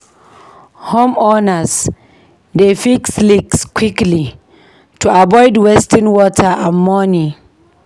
Homeowners dey fix leaks quickly to avoid wasting water and money.